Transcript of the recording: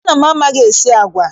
Nna m amaghị-esi agwa.